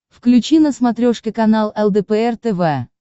включи на смотрешке канал лдпр тв